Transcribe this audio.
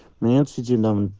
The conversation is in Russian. нет сети